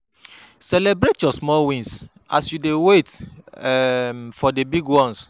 Celebrate your small wins as you dey wait um for di big ones